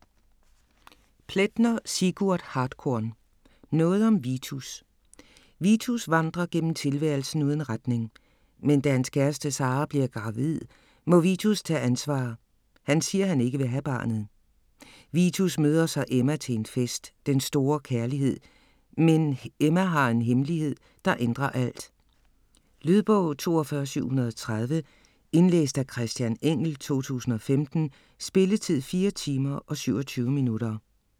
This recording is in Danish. Plaetner, Sigurd Hartkorn: Noget om Vitus Vitus vandrer gennem tilværelsen uden retning. Men da hans kæreste Sara bliver gravid, må Vitus tage ansvar - han siger han ikke vil have barnet. Vitus møder så Emma, til en fest. Den store kærlighed. Men Emma har en hemmelighed, der ændrer alt. Lydbog 42730 Indlæst af Christian Engell, 2015. Spilletid: 4 timer, 27 minutter.